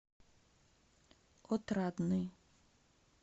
отрадный